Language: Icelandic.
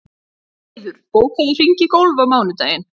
Valdheiður, bókaðu hring í golf á mánudaginn.